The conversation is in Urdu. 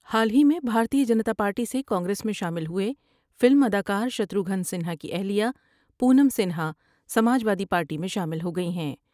حال ہی میں بھارتیہ جنتا پارٹی سے کانگریس میں شامل ہوئے فلم ادا کارشتروگھن سنہا کی اہلیہ پونم سنہا سماج وادی پارٹی میں شامل ہوگئی ہیں ۔